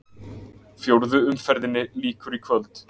Fjórðu umferðinni lýkur í kvöld